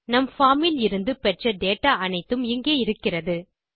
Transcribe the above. நம் பார்ம் இலிருந்து பெற்ற டேட்டா அனைத்தும் இங்கே இருக்கிறது